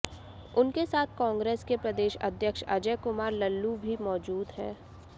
उनके साथ कांग्रेस के प्रदेश अध्यक्ष अजय कुमार लल्लू भी मौजूद हैं